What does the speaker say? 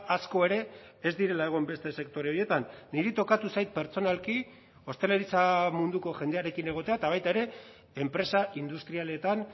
asko ere ez direla egon beste sektore horietan niri tokatu zait pertsonalki ostalaritza munduko jendearekin egotea eta baita ere enpresa industrialetan